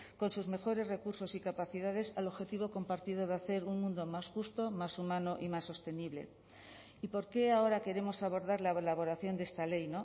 con sus mejores recursos y capacidades al objetivo compartido de hacer un mundo más justo más humano y más sostenible y por qué ahora queremos abordar la elaboración de esta ley